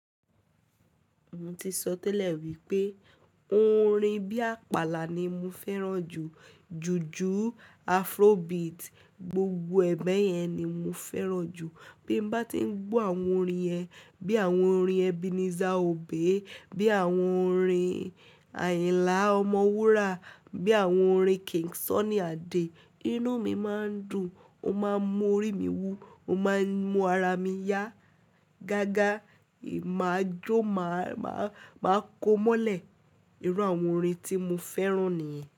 Mo ti sọ tẹ́lẹ̀ wípé, orin bí àpàlà ni mo fẹ́ràn jù, ju ju Afrobeat, gbogbo ẹ̀bẹ̀ yẹn ni mo fẹ́ràn jù. Bí mo bá ti ń gbọ́ àwọn orin ẹ, bí àwọn orin Ebenezer Obey, bí àwọn orin Ayinla Ọmọwura, bí àwọn orin King Sunny Adé, inú mi máa ń dùn, ó máa ń mú orí mi wú, ó máa ń mú ara mi yá. Gágá, èmi a jó, máa, máa, máa kó mọ́lẹ̀ irú àwọn orin tí mo fẹ́ràn nìyẹn.